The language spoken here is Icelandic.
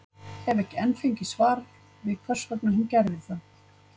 Hef ekki enn fengið svar við hvers vegna hún gerði það.